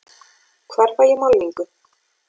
Hvar fæ ég málningu?